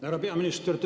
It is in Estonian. Härra peaminister!